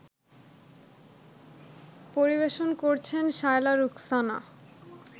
পরিবেশন করছেন শায়লা রুখসানা